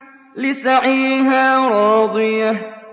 لِّسَعْيِهَا رَاضِيَةٌ